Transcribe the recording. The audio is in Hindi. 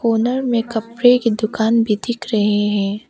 कार्नर में कपड़े की दुकान भी दिख रहे हैं।